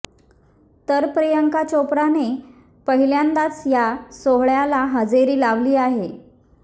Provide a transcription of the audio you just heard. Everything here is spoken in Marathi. तर प्रियांका चोप्राने पहिल्यांदाच या सोहळ्याला हजेरी लावली आहे